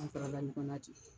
An tora ten.